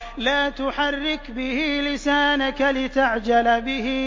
لَا تُحَرِّكْ بِهِ لِسَانَكَ لِتَعْجَلَ بِهِ